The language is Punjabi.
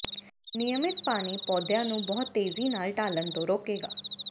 ਨਿਯਮਤ ਪਾਣੀ ਪੌਦਿਆਂ ਨੂੰ ਬਹੁਤ ਤੇਜ਼ੀ ਨਾਲ ਢਾਲਣ ਤੋਂ ਰੋਕੇਗਾ